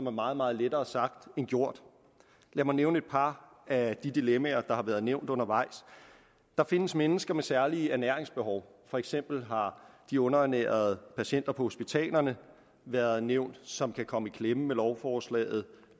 er meget meget lettere sagt end gjort lad mig nævne et par af de dilemmaer der har været nævnt undervejs der findes mennesker med særlige ernæringsbehov for eksempel har de underernærede patienter på hospitalerne været nævnt som kan komme i klemme med lovforslaget